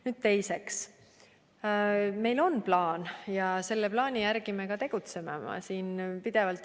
Nüüd teiseks: meil on plaan ja selle plaani järgi me ka tegutseme pidevalt.